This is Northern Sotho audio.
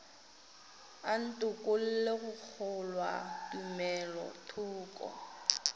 a ntokolle go kgolwa tumelothoko